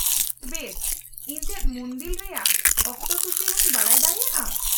-ᱵᱮᱥ! ᱤᱧ ᱪᱮᱫ ᱢᱩᱱᱫᱤᱞ ᱨᱮᱭᱟᱜ ᱚᱠᱛᱚᱥᱩᱪᱤ ᱦᱚᱸᱧ ᱵᱟᱰᱟᱭ ᱫᱟᱲᱮᱭᱟᱜᱼᱟ ?